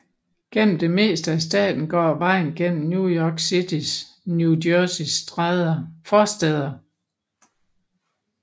Gennem det meste af staten går vejen gennem New York Citys New Jersey forstæder